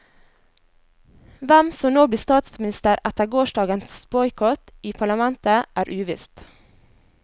Hvem som nå blir statsminister etter gårsdagens boikott i parlamentet, er uvisst.